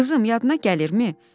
Qızım, yadına gəlirmi?